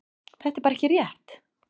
Þetta er bara ekki rétt.